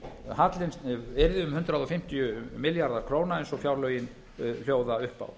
hallinn yrði um hundrað fimmtíu milljarðar króna eins og fjárlögin hljóða upp á